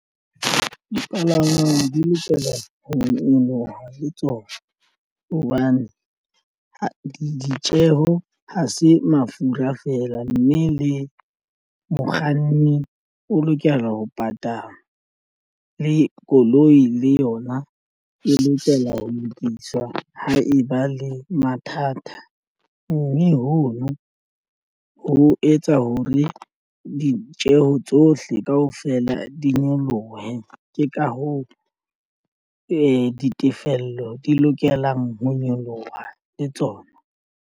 Dipalangwang di lokela ho nyoloha le tsona hobane ditjeho ha se mafura feela, mme le mokganni o lokela ho patalwa le koloi le yona e lokela ho lokiswa. Ha e ba le mathata mme hono ho etsa ho re ditjeho tsohle kaofela di nyolohe ke ka hoo ditefello di lokelang ho nyoloha le tsona.